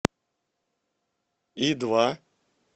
и два